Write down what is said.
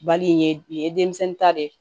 Bali ye nin ye denmisɛnnin ta de ye